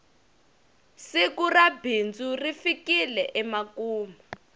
siku ra bindzu ri fikile emakumu